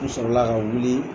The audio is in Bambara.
N sɔrɔla ka wuli